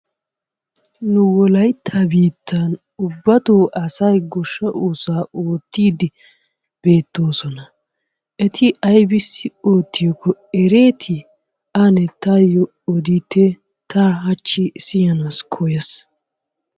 Nu wolayttaa biittan ubbattoo asay goshsha oosuwaa oottidi beettoosona. Eti aybbissi oottiyaako eretti? Ane tatyo odite, ta hachchi siyyanassi koyaas.